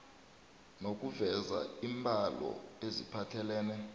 nokuveza iimbalo eziphathelene